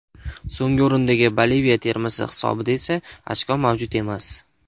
So‘nggi o‘rindagi Boliviya termasi hisobida esa ochko mavjud emas.